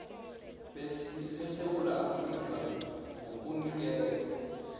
besewula afrika ngokunikelwa